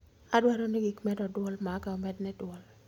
Adwaro ni gik medo dwol maga omedni dwol